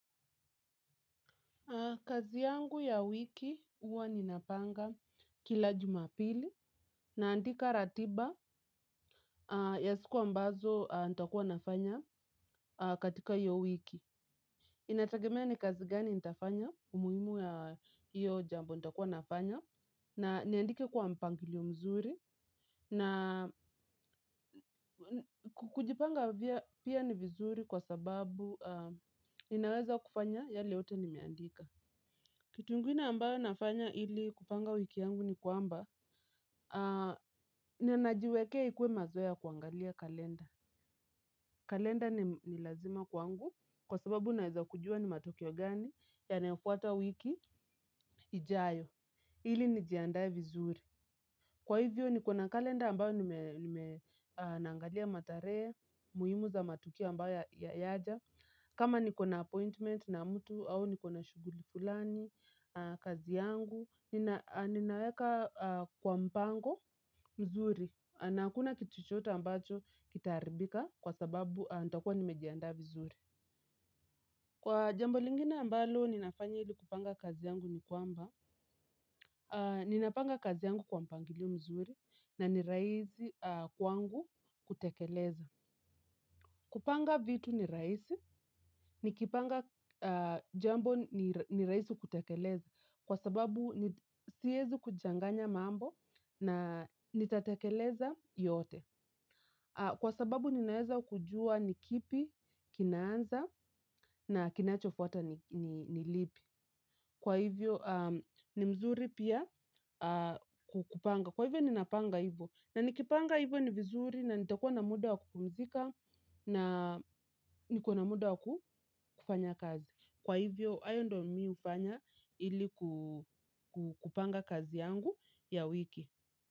Kazi yangu ya wiki uwa ninapanga kila jumapili naandika ratiba ya siku ambazo nita kuwa nafanya katika iyo wiki. Inatakemea ni kazi gani nitafanya umuimu ya iyo jambo nitakuwa nafanya na niandike kwa mpangilio mzuri na kujipanga pia ni vizuri kwa sababu ninaweza kufanya yale yote nimeandika. Kitu inguine ambayo nafanya hili kupanga wiki yangu ni kwamba, ninajiwekea ikuwe mazoeya kuangalia kalenda. Kalenda ni lazima kwangu kwa sababu naeza kujua ni matokeo gani yanayofuata wiki ijayo. Hili nijiandaye vizuri. Kwa hivyo nikona kalenda ambayo nime naangalia mataree, muhimu za matukio ambayo ya yaja. Kama nikona appointment na mtu au nikona shuguli kulani, kazi yangu, ninaweka kwa mpango mzuri na hakuna kitu chochote ambacho kitaribika kwa sababu nita kuwa nimejianda vizuri. Kwa jambo lingine ambalo ninafanya ili kupanga kazi yangu ni kwamba, ninapanga kazi yangu kwa mpangilio mzuri na niraizi kwangu kutekeleza. Kupanga vitu ni raisi, nikipanga jambo ni raisi kutekeleza, kwa sababu sihezi kujanganya mambo na nitatekeleza yote. Kwa sababu ninaeza kujua nikipi, kinanza na kinachofuata nilipi. Kwa hivyo ni mzuri pia kupanga. Kwa hivyo ninapanga hivyo. Na nikipanga hivyo ni vizuri na nitakuwa na muda wa kupumzika na niko na muda wa kufanya kazi. Kwa hivyo ayo ndo mimi ufanya ili kupanga kazi yangu ya wiki.